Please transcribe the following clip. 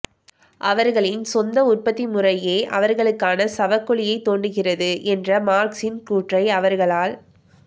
அவர்களின் சொந்த உற்பத்தி முறையே அவர்களுக்கான சவக் குழியை தோண்டுகிறது என்ற மார்க்சின் கூற்றை அவர்களால்